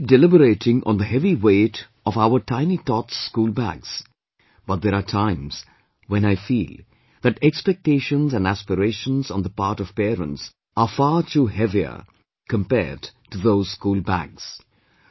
We keep deliberating on the heavy weight of our tiny tots' school bags, but there are times when I feel that expectations and aspirations on the part of parents are far too heavier compared to those school bags